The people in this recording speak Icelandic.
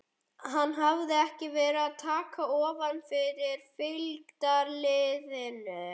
Hann hafði ekki verið að taka ofan fyrir fylgdarliðinu.